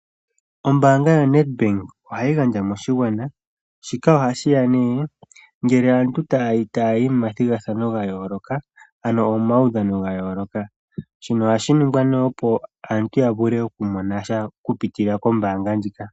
Ombaanga yo-Nedbank oha yi gandja moshigwana, ngele aantu ta ya yi momathigathano gayooloka. Shika oha shinigwa opo aantu yavule oku monasha oku pitila kombaanga ndjika.